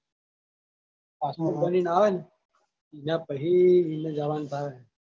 passport બની ને આવે ને એના પહી ઇન જવાનું થાય.